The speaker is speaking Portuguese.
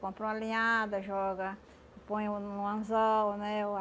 Compra uma linhada, joga, põe uh no anzol, né? uh ah